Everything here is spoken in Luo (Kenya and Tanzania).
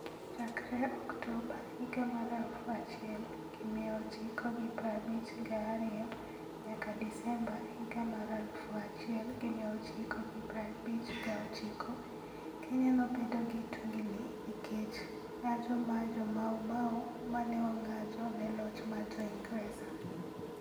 Chakre Oktoba 1952 nyaka Desemba 1959, Kenya nobedo gi tungini nikech ng'anjo mar Jo-Mau Mau ma ne ong'anjo ne loch mar Jo-Ingresa.